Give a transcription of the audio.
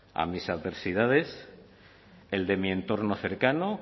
a mis adversidades el de mi entorno cercano